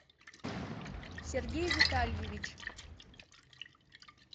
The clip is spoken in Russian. сергей витальевич